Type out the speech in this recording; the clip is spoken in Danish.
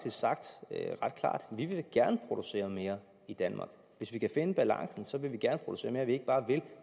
sagt at vi da gerne vil producere mere i danmark hvis vi kan finde balancen vil vi gerne producere mere ja vi ikke bare vil